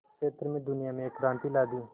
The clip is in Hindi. क्षेत्र में दुनिया में एक क्रांति ला दी